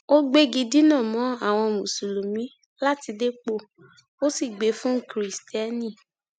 ó gbégi dínà mọ àwọn mùsùlùmí láti dépò ó sì gbé e fún kirisítérì